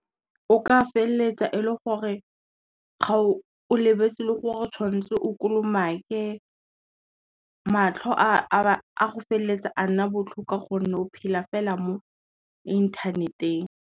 O ka feleletsa e le gore, o lebetse le gore o tshwanetse o kolomake. Matlho a go feleletsa a nna botlhoko ka gonne o phela fela mo inthaneteng.